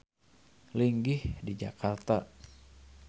Linggih di Jakarta.